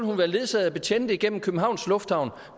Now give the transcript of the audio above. hun være ledsaget af betjente igennem københavns lufthavn